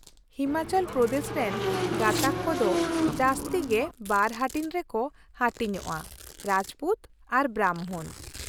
ᱦᱤᱢᱟᱪᱚᱞ ᱯᱨᱚᱫᱮᱥ ᱨᱮᱱ ᱜᱟᱸᱛᱟᱠ ᱠᱚᱫᱚ ᱡᱟᱹᱥᱛᱤ ᱜᱮ ᱵᱟᱨ ᱦᱟᱹᱴᱤᱧ ᱨᱮᱠᱚ ᱦᱟᱹᱴᱤᱧᱼᱟ ᱺ ᱨᱟᱡᱯᱩᱛ ᱟᱨ ᱵᱨᱟᱢᱵᱷᱚᱱ ᱾